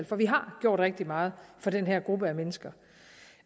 for vi har gjort rigtig meget for den her gruppe mennesker